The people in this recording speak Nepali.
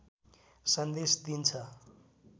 सन्देश दिन्छ